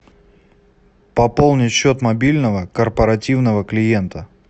пополнить счет мобильного корпоративного клиента